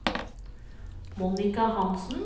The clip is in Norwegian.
Monica Hansen